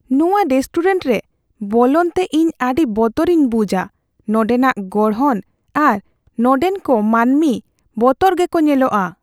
ᱱᱚᱣᱟ ᱨᱮᱥᱴᱩᱨᱮᱱᱴ ᱨᱮ ᱵᱚᱞᱚᱱᱛᱮ ᱤᱧ ᱟᱹᱰᱤ ᱵᱚᱛᱚᱨᱤᱧ ᱵᱩᱡᱷᱼᱟ ᱾ ᱱᱚᱸᱰᱮᱱᱟᱜ ᱜᱚᱲᱦᱚᱱ ᱟᱨ ᱱᱚᱸᱰᱮᱱ ᱠᱚ ᱢᱟᱹᱱᱢᱤ ᱵᱚᱛᱚᱨ ᱜᱮᱠᱚ ᱧᱮᱞᱚᱜᱚᱜᱼᱟ ᱾